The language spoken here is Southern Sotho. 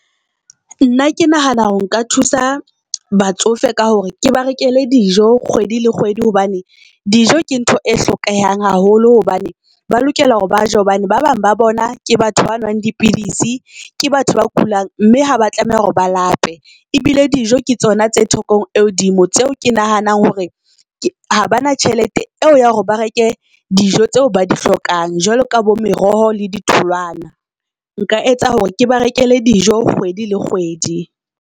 Nna ke nahana hore nka thusa batsofe ka hore ke ba rekele dijo kgwedi le kgwedi hobane dijo ke ntho e hlokehang haholo. Hobane ba lokela hore ba je hobane ba bang ba bona ke batho ba nwang dipidisi ke batho ba kulang, mme ha ba tlameha hore ba lape. E bile dijo ke tsona tse thekong e hodimo tseo ke nahanang hore ha ba na tjhelete eo ya hore ba reke dijo tseo ba di hlokang. Jwalo ka bo meroho le ditholwana, nka etsa hore ke ba rekele dijo kgwedi le kgwedi.